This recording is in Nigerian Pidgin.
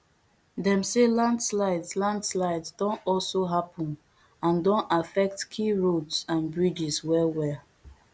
dem say landslides landslides don also happun and don affect key roads and bridges wellwell